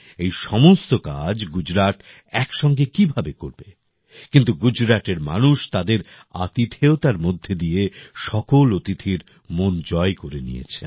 এই সমস্ত কাজ গুজরাট একসঙ্গে কিভাবে করবে কিন্তু গুজরাটের মানুষ তাদের আতিথেয়তার মধ্যে দিয়ে সকল অতিথির মন জয় করে নিয়েছেন